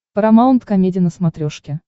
парамаунт комеди на смотрешке